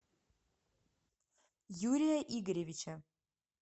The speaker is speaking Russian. юрия игоревича